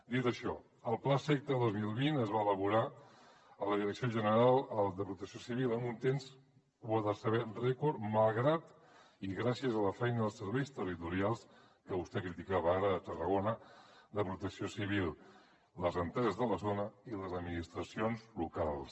dit això el plaseqta dos mil vint es va elaborar a la direcció general de protecció civil amb un temps ho ha de saber rècord malgrat i gràcies a la feina dels serveis territorials que vostè criticava ara de tarragona de protecció civil les empreses de la zona i les administracions locals